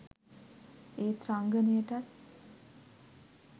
ඒත් රංගනයටත්